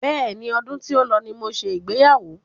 Bẹ́ẹ̀ni, ọdún tí ó lọ ní mo ṣe ìgbéyàwó.